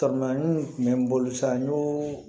kun bɛ n bolo sa n y'o